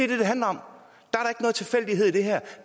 det det handler om